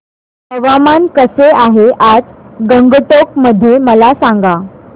हवामान कसे आहे आज गंगटोक मध्ये मला सांगा